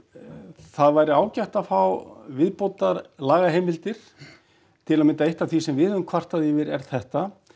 það væri ágætt að fá viðbótarlagaheimildir til að mynda eitt af því sem við höfum kvartað yfir er þetta